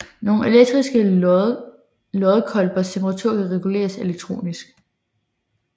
Nogle elektriske loddekolbers temperatur kan reguleres elektronisk